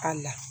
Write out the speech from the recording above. A la